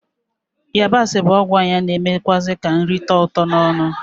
Yabasi bụ ọgwụ anya na-emekwụazị ka nrị tọọ ụtọ n'ọnụ ma kpoo ukpo,